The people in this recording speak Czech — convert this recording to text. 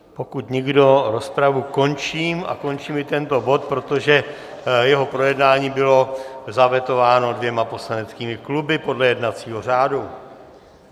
Pokud nikdo, rozpravu končím a končím i tento bod, protože jeho projednání bylo zavetováno dvěma poslaneckými kluby podle jednacího řádu.